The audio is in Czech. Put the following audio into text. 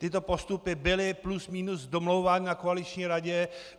Tyto postupy byly plus minus domlouvány na koaliční radě.